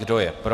Kdo je pro?